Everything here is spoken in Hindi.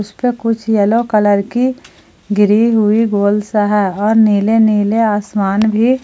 इसमें कुछ येलो कलर की गिरी हुई गोल सा है और नीले नीले आसमान भी --